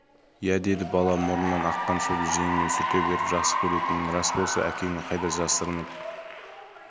иә деді бала мұрнынан аққан суды жеңімен сүрте беріп жақсы көретінің рас болса әкеңнің қайда жасырынып